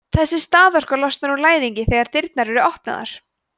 þessi staðorka losnar úr læðingi þegar dyrnar eru opnaðar